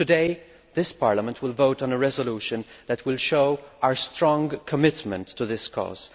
Today, this Parliament will vote on a motion for a resolution that will show our strong commitment to this cause.